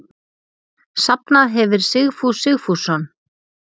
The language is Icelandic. Safnað hefir Sigfús Sigfússon.